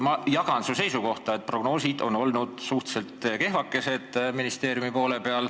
Ma jagan su seisukohta, et prognoosid on ministeeriumi poole peal olnud suhteliselt kehvakesed.